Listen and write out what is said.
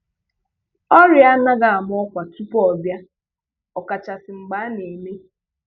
Ọrịa anaghị ama ọ́kwà tupu ọ bịa, ọkachasị mgbe a na-eme.